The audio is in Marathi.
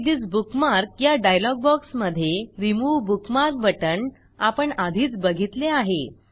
एडिट थिस बुकमार्क या डायलॉग बॉक्समधे रिमूव्ह बुकमार्क बटण आपण आधीच बघितले आहे